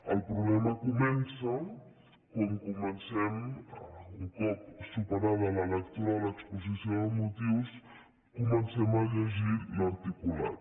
el problema comença quan comencem un cop superada la lectura de l’exposició de motius a llegir l’articulat